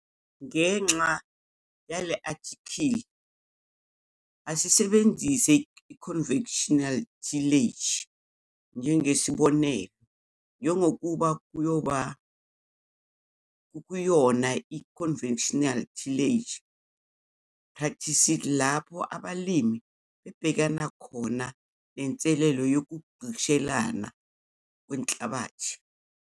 Ngenxa yale-athikhili asisebenzise i-conventional tillage njengesibonelo njengokuba kukuyona i-conventional tillage practices lapho abalimi bebhekana khona nenselelo yokugqishelana kwenhlabathi.